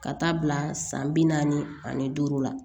Ka taa bila san bi naani ani duuru la